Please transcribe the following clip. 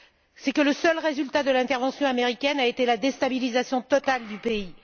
C'est que le seul résultat de l'intervention américaine a été la déstabilisation totale du pays.